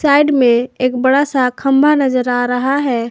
Side में एक बड़ा सा खंभा नजर आ रहा है।